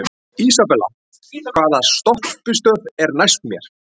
Isabella, hvaða stoppistöð er næst mér?